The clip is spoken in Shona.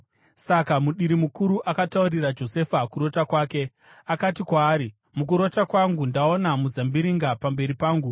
Saka mudiri mukuru akataurira Josefa kurota kwake. Akati kwaari, “Mukurota kwangu ndaona muzambiringa pamberi pangu,